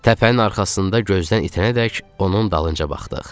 Təpənin arxasında gözdən itənədək onun dalınca baxdıq.